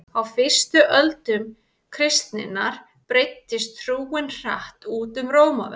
á fyrstu öldum kristninnar breiddist trúin hratt út um rómaveldi